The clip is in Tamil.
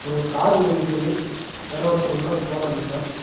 ஒரு கார் வந்து நிக்கிது யாரோ ஒருத்தர் உள்ளார போறாரு இப்ப.